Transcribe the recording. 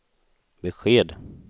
besked